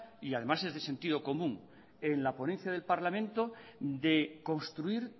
y además es de sentido común en la ponencia del parlamento de construir